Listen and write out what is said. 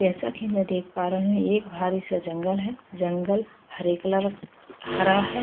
जैसा कि मैं देख पा रहे हैं एक भारी सा जंगल है जंगल हरे कलर हरा है ।